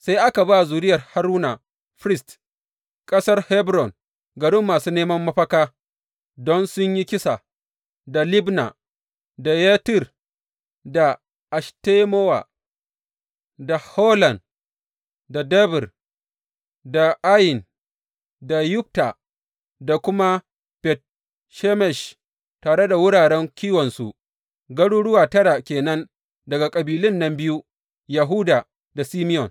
Sai aka ba zuriyar Haruna firist, ƙasar Hebron garin masu neman mafaka don sun yi kisa, da Libna, da Yattir, da Eshtemowa, da Holon, da Debir, da Ayin, da Yutta, da kuma Bet Shemesh, tare da wuraren kiwonsu, garuruwa tara ke nan daga kabilun nan biyu, Yahuda da Simeyon.